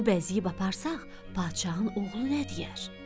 Bunu bəzəyib aparsaq, padşahın oğlu nə deyər?